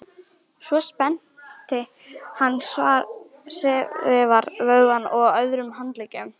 Svo spennti hann svera vöðvana á öðrum handleggnum.